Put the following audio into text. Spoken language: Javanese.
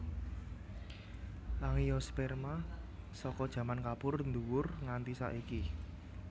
Angiospermae saka jaman Kapur nDuwur nganti saiki